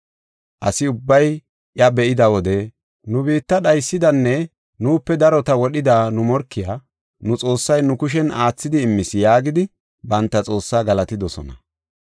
Asi ubbay iya be7ida wode, “Nu biitta dhaysidanne nuupe darota wodhida nu morkiya, nu xoossay nu kushen aathidi immis” yaagidi banta xoossaa galatidosona.